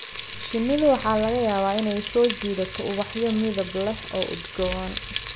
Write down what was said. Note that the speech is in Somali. Shinnidu waxa laga yaabaa inay soo jiidato ubaxyo midab leh oo udgoon.